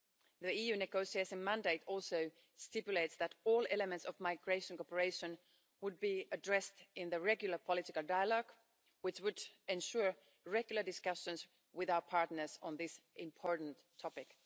The EU negotiation mandate also stipulates that all elements of migration cooperation would be addressed in the regular political dialogue, which would ensure regular discussions with our partners on this important topic.